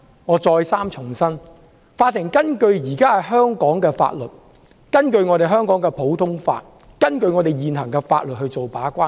我再三重申，在香港的普通法制度下，法庭根據香港現行法律把關。